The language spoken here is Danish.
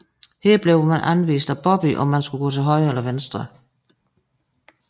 Her bliver man anvist af Bobby om man skal gå til højre eller venstre